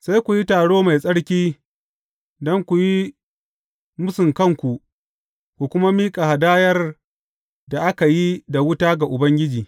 Sai ku yi taro mai tsarki don ku yi mūsun kanku ku kuma miƙa hadayar da aka yi da wuta ga Ubangiji.